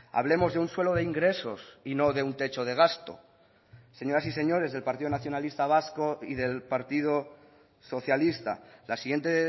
hablemos de un suelo de ingresos y no de un techo de gasto señoras y señores del partido nacionalista vasco y del partido socialista la siguiente